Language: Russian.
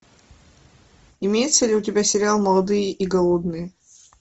имеется ли у тебя сериал молодые и голодные